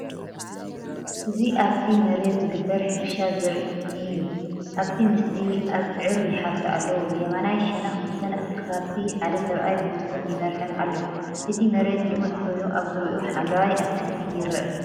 እዚ ኣብቲ መሬት ዝግበር ሕርሻ ዘርኢ እዩ። ኣብቲ ምስሊ፡ ኣብዕር ይሓርሱ ኣለዋ። ብየማናይ ሸነኽ እተን ከብቲ ሓደ ሰብኣይ ብመስኮት ይመርሐን ኣሎ። እቲ መሬት ልሙጽ ኮይኑ ኣብ ዙርያኡ ሓምላይ ኣትክልቲ ይርአ።